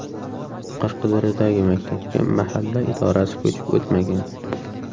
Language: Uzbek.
Qashqadaryodagi maktabga mahalla idorasi ko‘chib o‘tmagan.